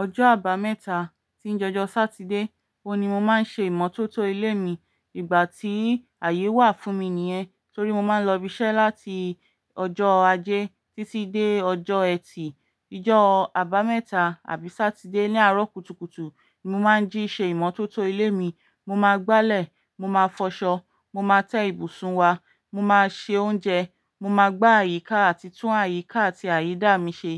Ọjọ́ àbámẹ́ta tí ń je ọjọ Satide, ó ni mo máa ń ṣe ìmọ́tótó ilé mi. Ìgbà tí ààyè wà fún mi nìyẹn torí mo máa ń lọ ibi iṣẹ́ láti ọjọ́ Ajé títí dé ọjọ́ ẹtì. Ìjọ àbámẹ́ta àbí Satide ní àárọ̀ kùtùkùtù ni mo máa ń jí ṣé ìmọ́tótó ilé mi. Mo máa gbálẹ̀, mo máa fọṣọ, mo máa tẹ́ ibùsùn wa, mo máa se oúnjẹ, mo máa gbá àyíká àti tún àyíká àti àyídà mi ṣe.